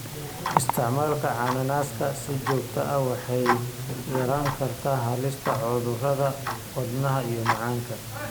Isticmaalka cananaaska si joogto ah waxay yarayn kartaa halista cudurada wadnaha iyo macaanka.